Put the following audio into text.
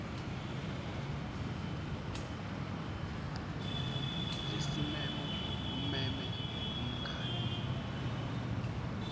lesimemo umeme umngani